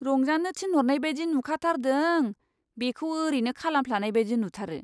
रंजानो थिनहरनाय बायदि नुखाथारदों, बेखौ ओरैनो खालामफ्लानाय बायदि नुथारो!